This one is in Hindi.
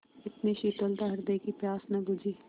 इतनी शीतलता हृदय की प्यास न बुझी